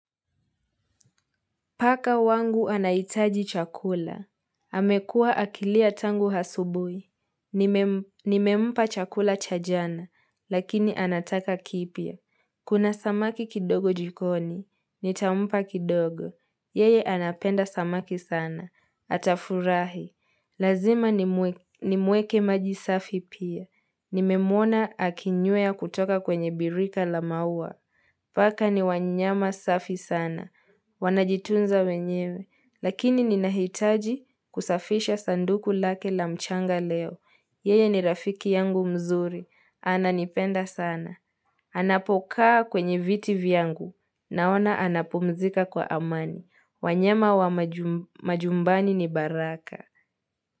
Paka wangu anaitaji chakula. Amekua akilia tangu hasubui. Nimempa chakula cha jana, lakini anataka kipya. Kuna samaki kidogo jikoni, nitampa kidogo. Yeye anapenda samaki sana, atafurahi. Lazima nimweke maji safi pia. Nimemwona akinywea kutoka kwenye birika la maua. Paka ni wanyama safi sana. Wanajitunza wenyewe. Lakini ninahitaji kusafisha sanduku lake la mchanga leo. Yeye ni rafiki yangu mzuri. Ananipenda sana. Anapokaa kwenye viti yangu. Naona anapumzika kwa amani. Wanyama wa majumbani ni baraka.